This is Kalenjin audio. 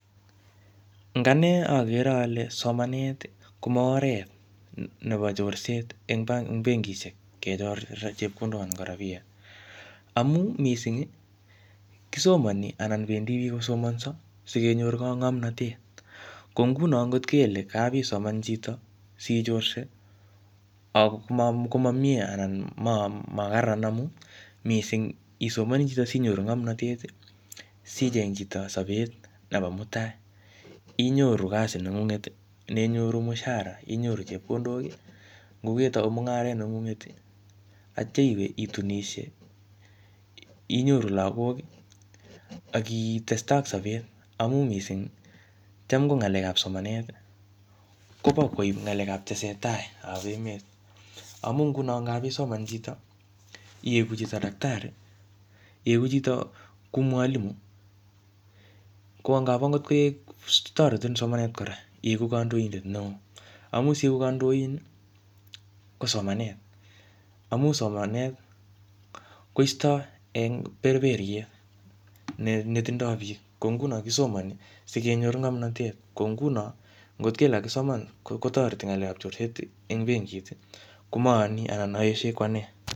Ing ane, agere ale somanet komo oret nebo chorset eng benkishek, kechor chepkondok anan ko rabiet. Amu missing, kisomani anan bendi biik kosomanso sikenyor ngomnotet. Ko nguno ngot kele kapisoman chito sichorsei, ak komo miee anan ma kararan amu missing isomani choto sinyoru ngomnotet, sicheng chito sobet nebo mutai. Inyoru kasi nengunget ne inyoru mshahara, inyoru chepkondok. Ngo ketau mung'aret nengunget, atya iwe itunishie, inyoru lagok, akitestai ak sobet. Amu missing, cham ko ngalekab somanet, kobo koib ngalekab tesetai ap emet. Amu nguno ngapisoman chito, iyegu chito daktari, iyegu chito kou mwalimu, ko ngap angot koek toreti eng somanet kora iyegu kandoidet neoo. Amu siegu kandoin, ko somanet. Amu somanet, koistoi eng berberiet, ne tindoi biik. Ko nguno kisomani, sikenyor ngomnotet. Ko nguno ngot kele kakisoman kotoreti ngalekap chorset eng benkit, komayani anan aeshoi ko anee.